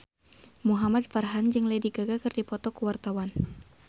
Muhamad Farhan jeung Lady Gaga keur dipoto ku wartawan